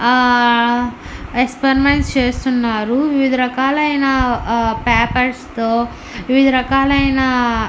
ఆ ఎక్స్పరిమెంట్స్ చేస్తున్నారు వివిధ రకాలైన ఆ పేపర్స్ తో వివిధ రకాలైన--